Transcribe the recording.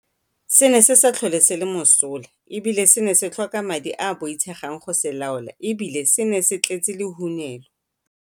Se ne se sa tlhole se le mosola e bile se ne se tlhoka madi a a boitshegang go se laola e bile se ne se tletse lehunelo.